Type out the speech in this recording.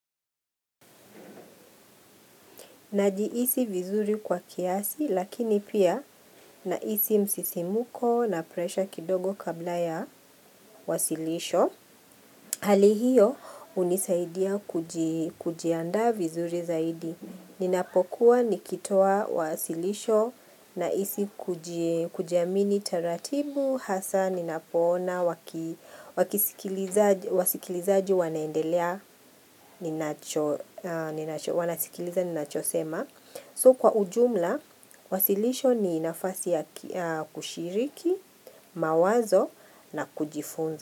Najihisi vizuri kwa kiasi lakini pia na hisi msisimuko na presha kidogo kabla ya wasilisho. Hali hiyo hunisaidia kujiandaa vizuri zaidi. Ninapokuwa nikitoa wasilisho nahisi kujiamini taratibu hasa ninapoona wasikilizaji wanaendelea wanasikiliza ninachosema. So kwa ujumla, wasilisho ni nafasi ya kushiriki, mawazo na kujifunza.